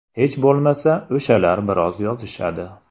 Hech bo‘lmasa o‘shalar biroz yozishadi.